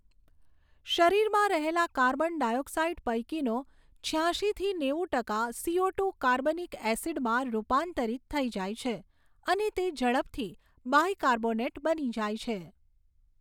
શરીરમાં રહેલા carbon dioxide પૈકીનો છ્યાશીથી નેવું ટકા સીઓટુ કાર્બનિક એસિડમાં રૂપાંતરિત થઈ જાય છે અને તે ઝડપથી બાયકાર્બોનેટ બની જાય છે.